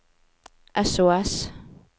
sos